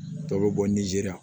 Dɔw bɛ bɔ nizeri la